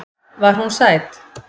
Var hún sæt?